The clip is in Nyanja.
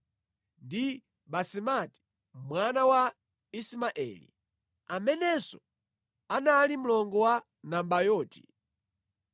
ndi Basemati mwana wa Ismaeli, amenenso anali mlongo wa Nabayoti.